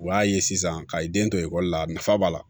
U y'a ye sisan ka den to ekɔli la nafa b'a la